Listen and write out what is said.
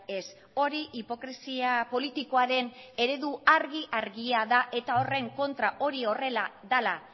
ez hori hipokresia politikoaren eredu argi argia da eta horren kontra hori horrela dela